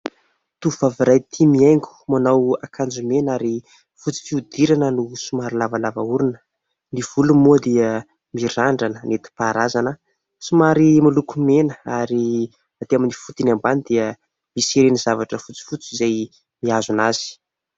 Tovovavy iray tia mihaingo. Manao akanjo mena ary fotsy fihodirana no somary lavalava orona. Ny volony moa dia mirandrana netim-paharazana somary miloko mena ary aty amin'ny fotony ambany dia misy ireny zavatra fotsifotsy izay mihazona azy.